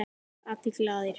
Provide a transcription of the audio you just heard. Allir glaðir.